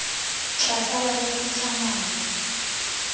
tla sala re phutha ngwana